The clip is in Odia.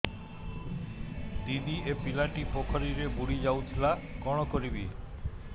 ଦିଦି ଏ ପିଲାଟି ପୋଖରୀରେ ବୁଡ଼ି ଯାଉଥିଲା କଣ କରିବି